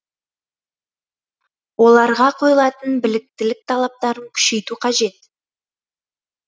оларға қойылатын біліктілік талаптарын күшейту қажет